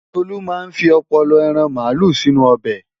Tolú máa fi ọpọlọ ẹran màálù sínú ọbẹ̀.